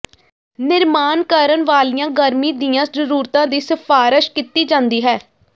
ਨਿਰਮਾਣ ਕਰਨ ਵਾਲੀਆਂ ਗਰਮੀ ਦੀਆਂ ਜ਼ਰੂਰਤਾਂ ਦੀ ਸਿਫਾਰਸ਼ ਕੀਤੀ ਜਾਂਦੀ ਹੈ